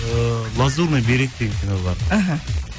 ыыы лазурный берег деген кино бар іхі